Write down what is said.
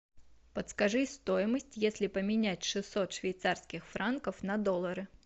подскажи стоимость если поменять шестьсот швейцарских франков на доллары